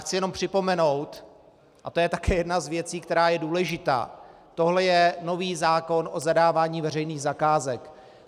Chci jenom připomenout, a to je také jedna z věcí, která je důležitá: Tohle je nový zákon o zadávání veřejných zakázek.